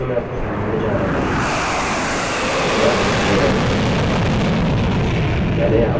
अतः पहला जो मैं आपको समझाने जा रहा हूँ वह htmlएचटीएमएलहै